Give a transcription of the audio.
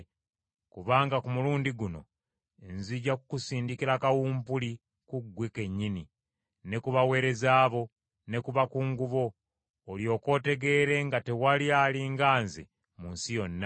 Kubanga ku mulundi guno nzija kukusindikira kawumpuli ku ggwe kennyini, ne ku baweereza bo, ne ku bakungu bo, olyoke otegeere nga tewali ali nga nze mu nsi yonna.